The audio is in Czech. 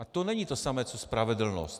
A to není to samé co spravedlnost.